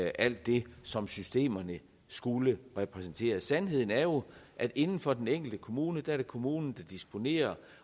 alt det som systemerne skulle repræsentere sandheden er jo at inden for den enkelte kommune er det kommunen der disponerer